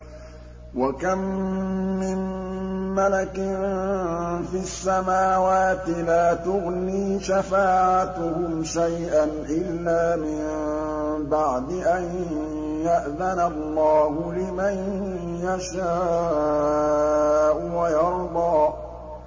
۞ وَكَم مِّن مَّلَكٍ فِي السَّمَاوَاتِ لَا تُغْنِي شَفَاعَتُهُمْ شَيْئًا إِلَّا مِن بَعْدِ أَن يَأْذَنَ اللَّهُ لِمَن يَشَاءُ وَيَرْضَىٰ